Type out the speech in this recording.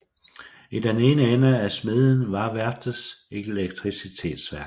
I den ene ende af smedjen var værftets elektricitetsværk